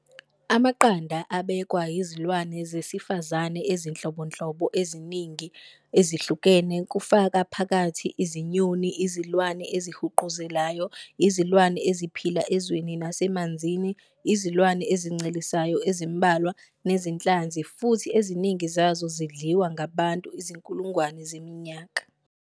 Amaqanda abekwa yizilwane zesifazane ezinhlobonhlobo eziningi ezihlukene kufaka phakathi izinyoni, izilwane ezihuquzelayo, izilwane eziphila ezweni nasemanzini, izilwane ezincelisayo ezimbalwa, nezinhlanzi, futhi eziningi zazo zidliwe ngabantu izinkulungwane zeminyaka.